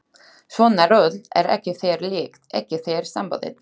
Svona rutl er ekki þér líkt, ekki þér samboðið.